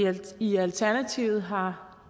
i alternativet har